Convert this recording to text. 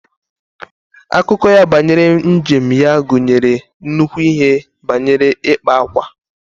Akụkọ ya banyere njem ya gụnyere nnukwu ihe banyere ikpa ákwà